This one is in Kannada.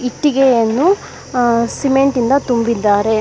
ಇಟ್ಟಿಗೆಯನ್ನು ಆ ಸಿಮೆಂಟ್ ಯಿಂದ ತುಂಬಿದ್ದಾರೆ.